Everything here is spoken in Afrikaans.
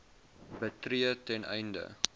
betree ten einde